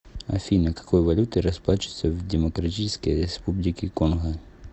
афина какой валютой расплачиваются в демократической республике конго